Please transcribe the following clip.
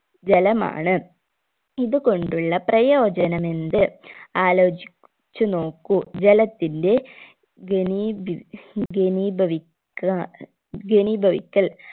ജലമാണ് ഇത് കൊണ്ടുള്ള പ്രയോജനമെന്ത് ആലോചി ച്ചു നോക്കൂ ജലത്തിന്റ ഘനീബി ഘനീഭവി ക്ക ഘനീഭവിക്കൽ